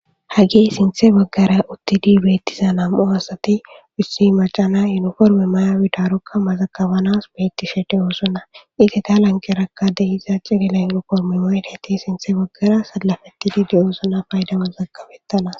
hage sinthe baggara uttidi beettiza nam7o asati bissi macana yuniforme mayawidarokka mazakabanas beettishe de7oosona ite ta lankerakade iza cigela ynoforme moel heti sinthe baggara sallafettidi de7oosona paydama zagkabettana